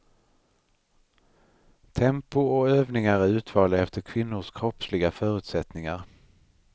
Tempo och övningar är utvalda efter kvinnors kroppsliga förutsättningar.